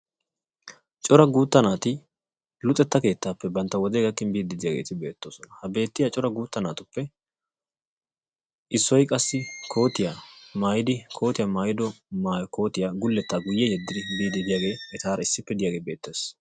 Cora guutta naati luxetta keettaappe bantta wodee gakkin biiddi diyageeti beettoosona. Ha beettiya cora guutta naatuppe issoy qassi kootiya maayidi kootiya maayido maayi kootiya gulettaa guyye biiddi diyagee etaara issippe diyagee beettees.